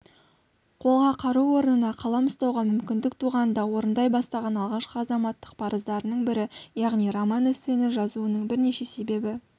қолға қару орнына қалам ұстауға мүмкіндік туғанда орындай бастаған алғашқы азаматтық парыздарының бірі яғни роман-эссені жазуының бірінші себебі